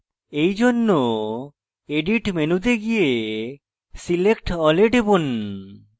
এইজন্য edit মেনুতে গিয়ে select all এ টিপুন